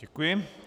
Děkuji.